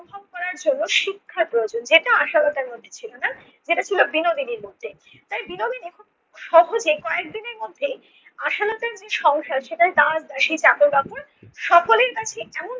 করার জন্য শিক্ষা প্রয়োজন যেটা আশালতার মধ্যে ছিল না, যেটা ছিল বিনোদিনীর মধ্যে। তাই বিনোদিনী খুব সহজেই কয়েকদিনের মধ্যেই আশালতার যে সংসার সেটায় দাস দাসী চাকর-বাকর সকলের কাছে এমন